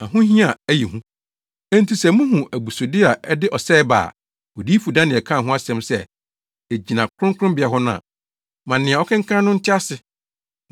“Enti sɛ muhu ‘abusude a ɛde ɔsɛe ba’ a Odiyifo Daniel kaa ho asɛm sɛ egyina kronkronbea hɔ no a, ma nea ɔkenkan no nte ase,